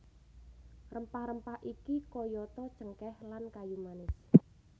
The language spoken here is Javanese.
Rempah rempah iki kayata cengkéh lan kayu manis